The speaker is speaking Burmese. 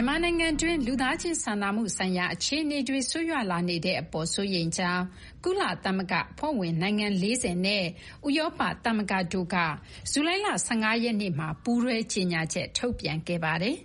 န်မာနိုင်ငံတွင်း လူသားချင်းစာနာမှုဆိုင်ရာအခြေအနေတွေ ဆိုးရွားလာနေတဲ့အပေါ် စိုးရိမ်ကြောင်း ကုလသမဂ္ဂအဖွဲ့ဝင်နိုင်ငံ ၄၀ နဲ့ ဥရောပ သမဂ္ဂတို့က ဇူလိုင်လ ၁၅ ရက်နေ့မှာ ပူးတွဲ ကြေညာချက် ထုတ်ပြန်ခဲ့ပါတယ်